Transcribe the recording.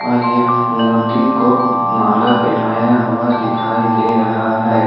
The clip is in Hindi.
और ये मूर्ति को माला पहनाया हुआ दिखाई दे रहा है।